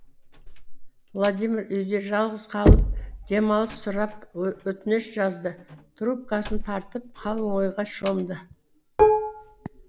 владимир үйде жалғыз қалып демалыс сұрап өтініш жазды трубкасын тартып қалың ойға шомды